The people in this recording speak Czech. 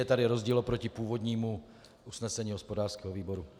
Je tady rozdíl oproti původnímu usnesení hospodářského výboru.